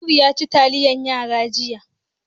Noor yaci taliyan yara jiya.